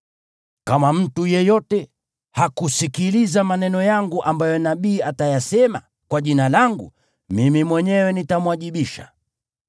Kama mtu yeyote hatasikiliza maneno yangu ambayo huyo nabii atayasema kwa Jina langu, mimi mwenyewe nitamwajibisha.